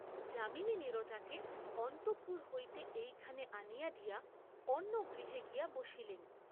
যামিনী নীরজাকে অন্তঃপুর হইতে এইখানে আনিয়া দিয়া অন্য গৃহে গিয়া বসিলেন।